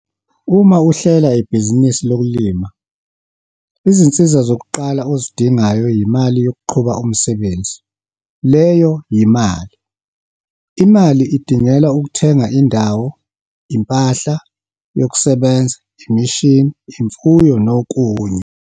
Uma uhlela ibhizinisi lokulima, izinsiza zokuqala ozidingayo yimali yokuqhuba umsebenzi leyo yimali. Imali idingelwa ukuthenga indawo, impahla yokusebenza, imishini, imfuyo nokunye.